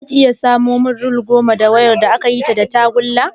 Zaka iya samo min rol goma na wayar da akayi ta da tagulla?